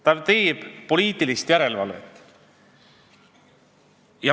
Ta teeb poliitilist järelevalvet.